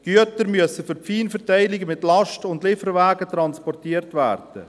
Die Güter müssen für die Feinverteilung mit Last- und Lieferwagen transportiert werden.